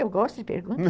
Eu gosto de perguntas